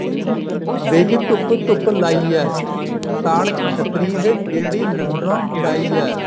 ਦੇਖ ਕੀ ਧੁੱਪ ਧੁੱਪ ਲਾਈ ਐ ਤਣ ਛਤਰੀ ਦੇ ਜਿਹੜੀ ਲੰਡਨੋ ਮੰਗਾਈ ਐ